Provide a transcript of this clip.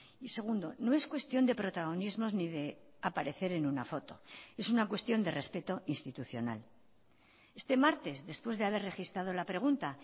y segundo no es cuestión de protagonismos ni de aparecer en una foto es una cuestión de respeto institucional este martes después de haber registrado la pregunta